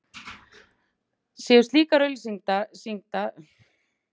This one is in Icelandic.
Séu slíkar auglýsingar tengdar við kynlíf eða frægt fólk eykur það áhrif þeirra á unglinga.